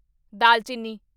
ਦਾਲਚੀਨੀ